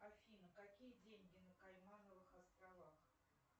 афина какие деньги на каймановых островах